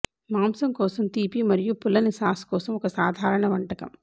మాంసం కోసం తీపి మరియు పుల్లని సాస్ కోసం ఒక సాధారణ వంటకం